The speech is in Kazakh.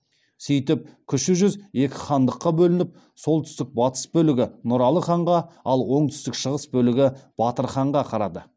сөйтіп кіші жүз екі хандыққа бөлініп солтүстік батыс бөлігі нұралы ханға ал оңтүстік шығыс бөлігі батыр ханға қарады